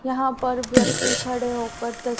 यहां पर व्यक्ति खड़े होकर त--